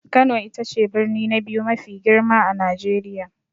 Kano ita ce birni na biyu mafi girma a Najeriya.